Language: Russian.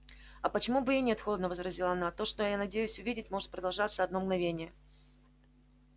а почему бы и нет холодно возразила она то что я надеюсь увидеть может продолжаться одно мгновение